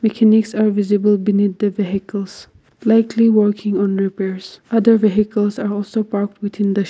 are visible beneath the vehicles flatly working on repairs other vehicles are also parked within the sh--